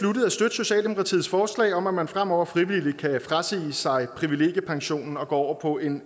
socialdemokratiets forslag om at man fremover frivilligt kan frasige sig privilegiepensionen og gå over på en